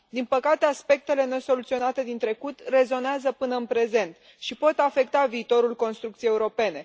Din păcate, aspectele nesoluționate din trecut rezonează până în prezent și pot afecta viitorul construcției europene.